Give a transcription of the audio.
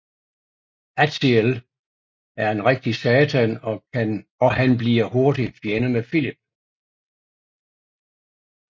Aziel er en rigtig satan og han bliver hurtigt fjende med Filip